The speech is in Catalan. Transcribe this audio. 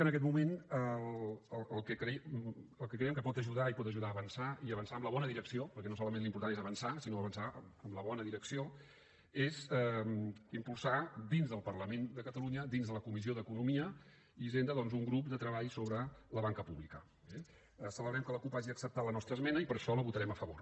en aquest moment el que creiem que pot ajudar i pot ajudar a avançar i a avançar en la bona direcció perquè no solament l’important és avançar sinó avançar en la bona direcció és impulsar dins del parlament de catalunya dins de la comissió d’economia i hisenda doncs un grup de treball sobre la banca pública eh celebrem que la cup hagi acceptat la nostra esmena i per això la votarem a favor